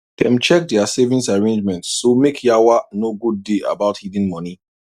dem check their savings arrangements so make yawa no go day about hidden money